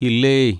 ഇല്ലേയ്.